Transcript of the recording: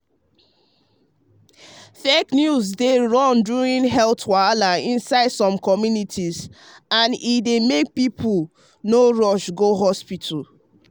fake news dey run during health wahala inside some communities and e dey make people people no rush go hospital.